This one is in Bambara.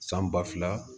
San ba fila